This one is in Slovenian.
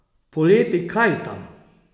Poleti kajtam.